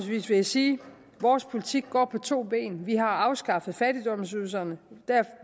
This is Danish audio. vil jeg sige at vores politik går på to ben vi har afskaffet fattigdomsydelserne